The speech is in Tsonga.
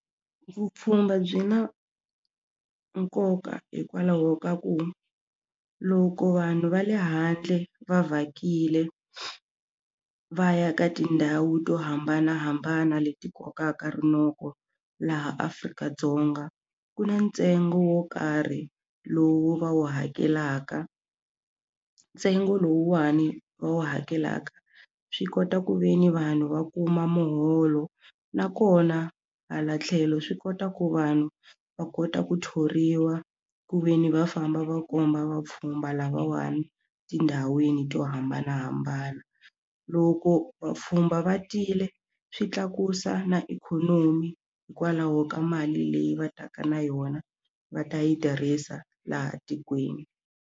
Vupfhumba byi na nkoka hikwalaho ka ku loko vanhu va le handle va vhakile va ya ka tindhawu to hambanahambana leti kokaka rinoko laha Afrika-Dzonga ku na ntsengo wo karhi lowu va wu hakelaka ntsengo lowuwani va wu hakelaka swi kota ku ve ni vanhu va kuma muholo nakona hala tlhelo swi kota ku vanhu va kota ku thoriwa ku ve ni va famba va komba vapfhumba lavawani tindhawini to hambanahambana loko vapfhumba va tile swi tlakusa na ikhonomi hikwalaho ka mali leyi va taka na yona va ta yi tirhisa laha tikweni.